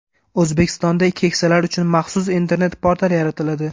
O‘zbekistonda keksalar uchun maxsus internet-portal yaratiladi.